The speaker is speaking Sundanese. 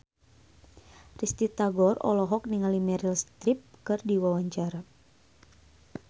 Risty Tagor olohok ningali Meryl Streep keur diwawancara